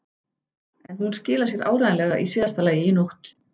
En hún skilar sér áreiðanlega í síðasta lagi í nótt.